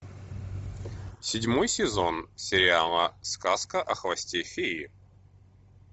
седьмой сезон сериала сказка о хвосте феи